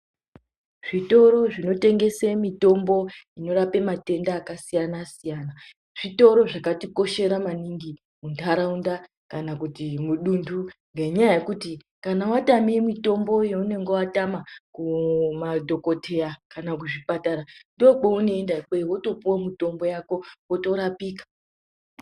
Zvitoro zvinotengese mitombo inorape matenda akasiyana-siyana. Zvitoro zvakatikoshera maningi muntaraunda kana kuti mudunhu. Ngenyaya yekuti kana vatame mitombo yaunonga vatama kumadhokoteya kana kuzvipatara ndokwaunoenda ikweyo votopuva mutombo vako votorapika.